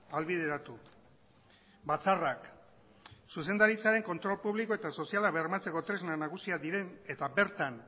ahalbideratu batzarrak zuzendaritzaren kontrol publiko eta soziala bermatzeko tresna nagusiak diren eta bertan